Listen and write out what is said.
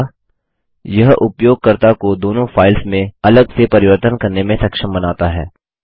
दूसरा यह उपयोगकर्ता को दोनों फाइल्स में अलग से परिवर्तन करने में सक्षम बनाता है